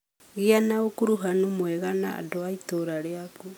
Gĩa na ũkuruhanu mwega na andũ a itũũra rĩaku.